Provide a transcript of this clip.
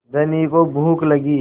धनी को भूख लगी